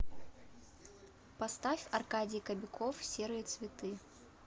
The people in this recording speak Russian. поставь аркадий кобяков серые цветы